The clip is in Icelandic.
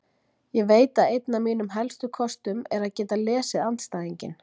Ég veit að einn af mínum helstu kostum er að geta lesið andstæðinginn.